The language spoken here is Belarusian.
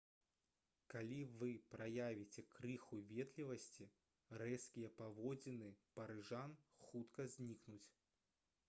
калі вы праявіце крыху ветлівасці рэзкія паводзіны парыжан хутка знікнуць